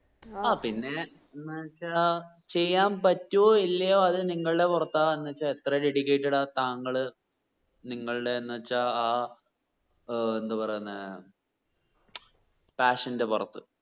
ആ പിന്നെ എന്ത് വെച്ച ചെയ്യാൻ പറ്റുവോ ഇല്ലയോ അത് നിങ്ങളുടെ പുറത്താ എന്ന് വെച്ചാ എത്ര dedicated ആ താങ്കള് നിങ്ങള്ടെ എന്ന് വെച്ച ഏർ എന്തുപറയുന്നെ. മ്ചം passion ന്റെ പുറത്ത്